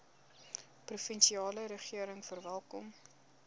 provinsiale regering verwelkom